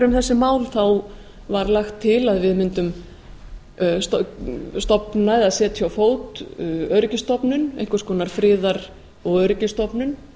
um þessi mál þá var lagt til að við mundum stofna eða setja á fót öryggisstofnun einhvers konar friðar og öryggisstofnun